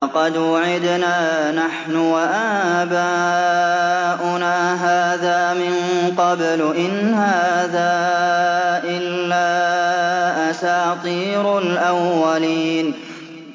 لَقَدْ وُعِدْنَا نَحْنُ وَآبَاؤُنَا هَٰذَا مِن قَبْلُ إِنْ هَٰذَا إِلَّا أَسَاطِيرُ الْأَوَّلِينَ